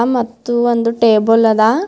ಹ ಮತ್ತು ಒಂದು ಟೇಬಲ್ ಅದ.